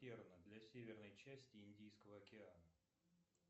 для северной части индийского океана